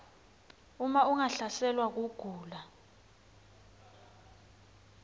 uma ungahlaselwa kugula